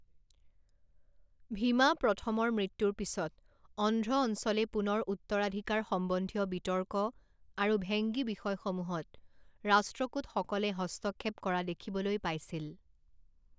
ভীমা প্ৰথমৰ মৃত্যুৰ পিছত অন্ধ্ৰ অঞ্চলে পুনৰ উত্তৰাধিকাৰ সম্বন্ধীয় বিতৰ্ক আৰু ভেংগী বিষয়সমূহত ৰাষ্ট্ৰকূটসকলে হস্তক্ষেপ কৰা দেখিবলৈ পাইছিল।